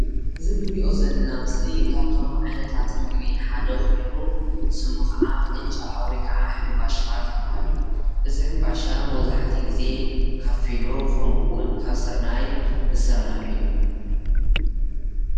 እዚ ንሪኦ ዘለና ምስሊ ካብቶም ዓይነታት ምግቢ ሓደ ኮይኑ ስሙ ከዓ ቅጫ ወይ ከዓ ሕንባሻ ዝበሃል እዩ እዚ ሕንባሻ መብዛሕትኡ ግዜ ካፊኖ ከምኡ ውን ካብ ስርናይ ዝስራሕ እዩ ።